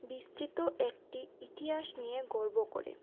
বিস্তৃত একটি ইতিয়াস নিয়ে গর্ব করে।